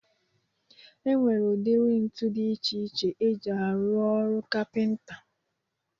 E nwere udiri ntu dị iche iche eji arụ ọrụ kapịnta